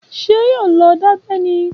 Ṣé yóò lọ dábẹ́ ni?